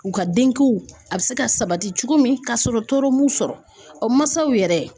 U ka denko a bɛ se ka sabati cogo min ka sɔrɔ tɔɔrɔ m'u sɔrɔ o mansaw yɛrɛ